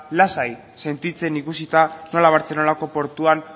lasai sentitzen ikusita nola bartzelonako portuan